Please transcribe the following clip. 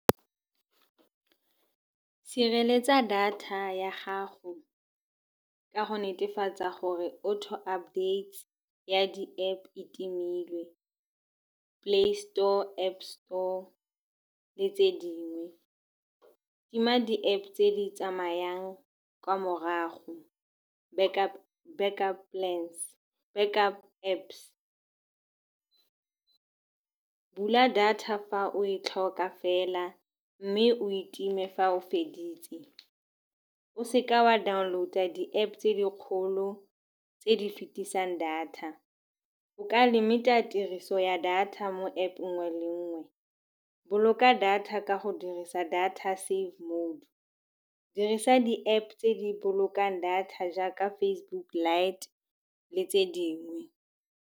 Sireletsa data ya gago ka go netefatsa gore auto-updates ya di-App e timilwe, Play Store, App Store le tse dingwe. Tima di-App tse di tsamayang kwa morago, backup Apps. Bula data fa o e tlhoka fela, mme o e time fa o feditse. O seka wa download-a di-App tse di kgolo tse di fetisang data. O ka limit-a tiriso ya data mo App nngwe le nngwe. Boloka data ka go dirisa data save mode, dirisa di-App tse di bolokang data jaaka Facebook light le tse dingwe.